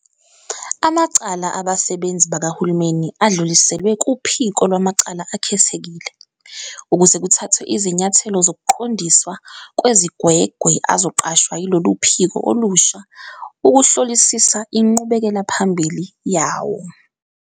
Amacala abasebenzi bakahulumeni adluliselwe kuPhiko Lwamacala Akhethekile ukuze kuthathwe izinyathelo zokuqondiswa kwezigwegwe azoqashwa yilolu phiko olusha ukuhlolisisa inqubekelaphambili yawo.